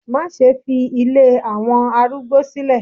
Má ṣe fi ilé àwọn arúgbó sílẹ̀